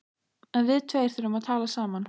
En við tveir þurfum að tala saman.